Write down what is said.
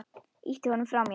Ýti honum frá mér.